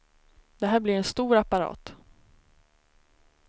Det här blir en stor apparat.